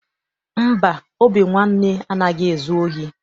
Mba, Obinwanne anaghị ezu ohi.